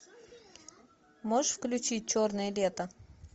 можешь включить черное лето